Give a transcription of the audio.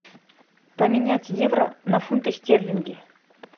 поменять евро на фунты стерлинги